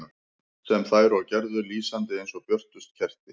Sem þær og gerðu, lýsandi eins og björtust kerti.